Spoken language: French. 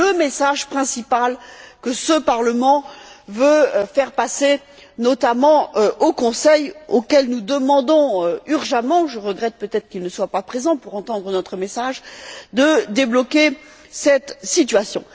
C'est le message principal que ce Parlement veut faire passer, notamment au Conseil, auquel nous demandons urgemment je regrette peut être qu'il ne soit pas présent pour entendre notre message de débloquer cette situation.